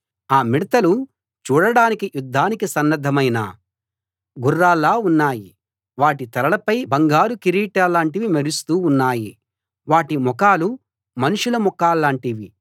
ఆ మిడతలు చూడడానికి యుద్ధానికి సన్నద్ధమైన గుర్రాల్లా ఉన్నాయి వాటి తలలపై బంగారు కిరీటాల్లాంటివి మెరుస్తూ ఉన్నాయి వాటి ముఖాలు మనుషుల ముఖాల్లాంటివి